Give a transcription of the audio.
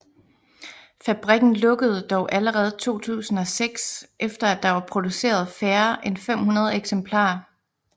Fabrikken lukkede dog allerede 2006 efter at der var produceret færre end 500 eksemplarer